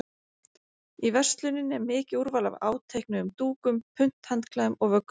Í versluninni er mikið úrval af áteiknuðum dúkum, punthandklæðum og vöggusettum.